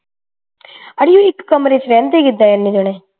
ਅੜੀਏ ਉਹ ਇਕ ਕਮਰੇ ਵਿਚ ਰਹਿੰਦੇ ਕਿੱਦਾਂ ਇੰਨੇ ਜਾਣੇ